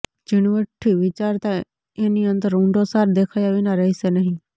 ઝીણવટથી વિચારતાં એની અંદર ઊંડો સાર દેખાયા વિના રહેશે નહિ